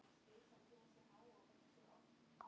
Hann var lágvaxinn, skolhærður, með gleraugu.